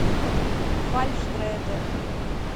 фальшь дреды